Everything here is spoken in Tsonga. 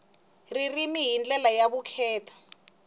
ririmi hi ndlela ya vukheta